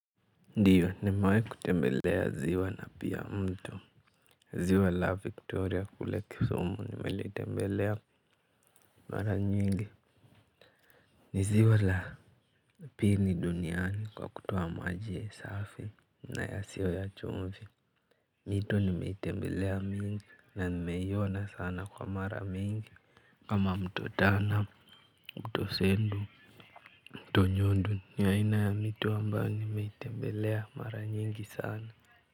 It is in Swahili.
Ndio, nimewai kutembelea ziwa na pia mto. Ziwa la victoria kule Kisumu nimelitembelea mara nyingi. Ni ziwa la pili duniani kwa kutuoa majie safi na yasiyo ya chumvi. Mito nimeitembelea mingi na nimeiona sana kwa mara mingi kama mto Tana, mto Sendu, Tunyundu. Ni aina ya mito ambayo nimeitembelea mara nyingi sana.